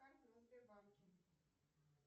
карты на сбербанке